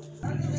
Ayi